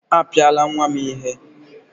Apiala nwa m ihe!